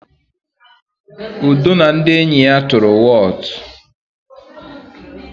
Udo na ndị enyi ya tụrụ wọọtụ.